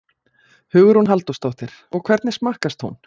Hugrún Halldórsdóttir: Og hvernig smakkast hún?